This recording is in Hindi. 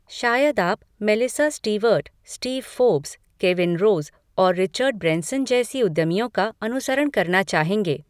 शायद आप Melissa Stewart, Steve Forbes, Kevin Rose और रिचर्ड ब्रैनसन जैसे उद्यमियों का अनुसरण करना चाहेंगे।